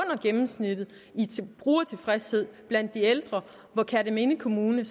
gennemsnittet i brugertilfredshed blandt de ældre hvor kerteminde kommune